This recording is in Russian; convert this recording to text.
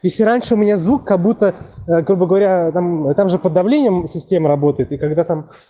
если раньше у меня звук как будто грубо говоря там и там же под давлением в системе работает и когда там